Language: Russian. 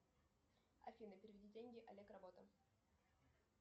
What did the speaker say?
афина переведи деньги олег работа